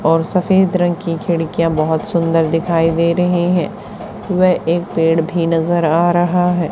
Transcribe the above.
और सफेद रंग की खिड़कियां बहुत सुंदर दिखाई दे रही हैं वह एक पेड़ भी नजर आ रहा है।